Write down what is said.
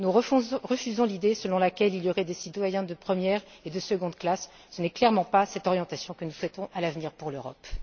Nous refusons l'idée selon laquelle il y aurait des citoyens de première et de seconde classes, ce n'est clairement pas cette orientation que nous souhaitons à l'avenir pour l'Europe.